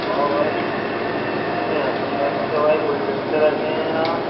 वाह भाई इतने अच्छे-अच्छे भाई गुलदस्ते रखे हैं यार।